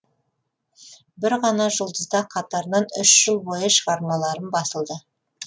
бір ғана жұлдызда қатарынан үш жыл бойы шығармаларым басылды